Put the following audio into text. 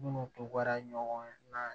Minnu tora ɲɔgɔn na